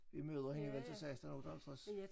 Vi møder hende vel til 16 58